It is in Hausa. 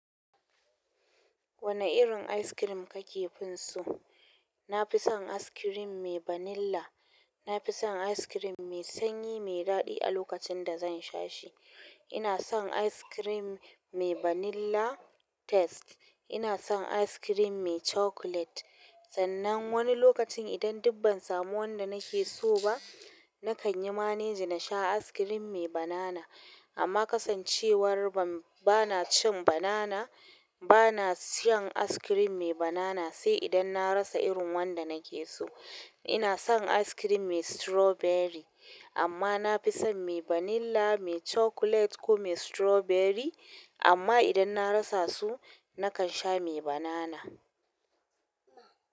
Wani irin ice cream kake? Nafi son ice cream mai vanilla na fi son ice cream mai sanyi, mai daɗi a lokacin da zan sha shi. Ina son ice cream mai vanilla taste. Ina son ice cream mai chocolate. Sannan wani lokacin idan duk ban samu wanda nake so ba, na kan yi manegi na sha ice cream mai banana. Amma kasancewar ba na cin banana, ba na shan ice cream mai banana sai idan na rasa irin wanda nake so. Ina son ice cream mai strawberry. Amma na fi son mai vanilla, mai chocolate ko mai strawberry. Amma idan na rasa su, na kan sha mai banana.